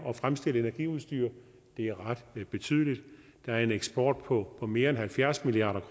at fremstille energiudstyr det er ret betydeligt der er en eksport på mere end halvfjerds milliard